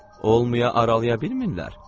Olmaya aralaya bilmirlər.